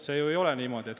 See ju ei ole niimoodi.